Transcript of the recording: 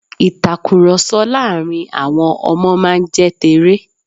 ìtakùròsọ láàrin àwọn Ọmọ máa n jẹ́ teré